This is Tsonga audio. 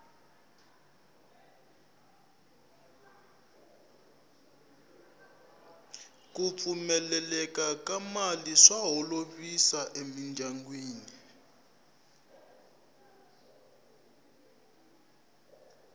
ku pfumaleka ka mali swa holovisa emindyangwini